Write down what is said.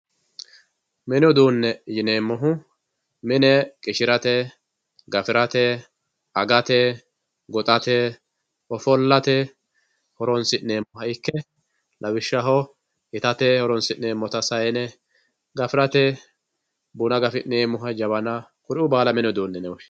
mini uduune yineemohu mine qishirate, gafirate, agate, goxate, offollate horonsi'neemoha ikke lawishshaho itate horonsi'neemota sayiine gafirate buna gafi'neemo javana kuri"uu baala mini uduune yine woshshinayi